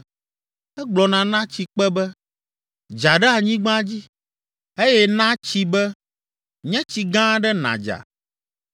Egblɔna na tsikpe be, ‘Dza ɖe anyigba dzi’ eye na tsi be, ‘Nye tsi gã aɖe nàdza.’